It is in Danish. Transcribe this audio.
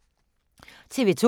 TV 2